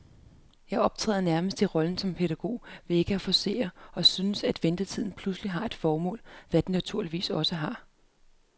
Jeg optræder nærmest i rollen som pædagog ved ikke at forcere, og synes, at ventetiden pludselig har et formål, hvad den naturligvis også har.